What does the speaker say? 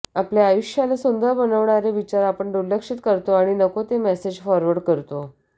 आपल्या आयुष्याला सुंदर बनवणारे विचार आपण दुर्लक्षित करतो आणि नको ते मेसेज फॉरवर्ड करतो